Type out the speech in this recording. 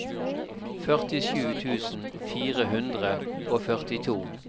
førtisju tusen fire hundre og førtito